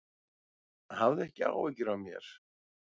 Hafðu ekki áhyggjur af mér.